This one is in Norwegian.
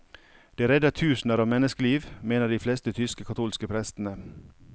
Det redder tusener av menneskeliv, mener de fleste tyske katolske prestene.